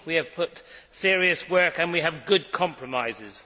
We have put serious work into it and we have good compromises.